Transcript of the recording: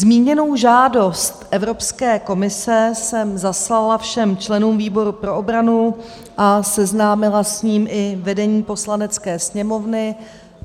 Zmíněnou žádost Evropské komise jsem zaslala všem členům výboru pro obranu a seznámila s ní i vedení Poslanecké sněmovny.